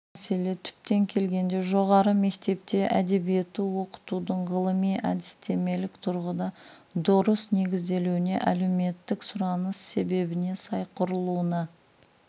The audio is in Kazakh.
бұл мәселе түптеп келгенде жоғары мектепте әдебиетті оқытудың ғылыми-әдістемелік тұрғыда дұрыс негізделуіне әлеуметтік сұраныс себебіне сай құрылуына